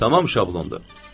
Tamam şablondur.